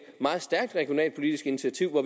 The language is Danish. meget stærkt regionalpolitisk initiativ